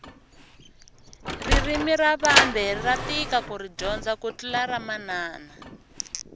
ririmi ra vambe ra tika kuri dyondza ku tlula ramanana